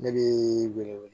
Ne bi wele wele